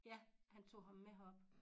Ja han tog ham med herop